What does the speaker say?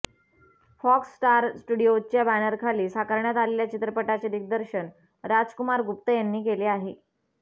fox Star स्टूडियोजच्या बॅनरखाली साकारण्यात आलेल्या चित्रपटाचे दिग्दर्शन राजकुमार गुप्ता यांनी केले आहे